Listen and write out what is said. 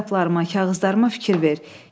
Kitablarıma, kağızlarıma fikir ver.